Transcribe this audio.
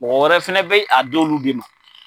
Mɔgɔ fɛnɛ bɛ a d'olu de ma.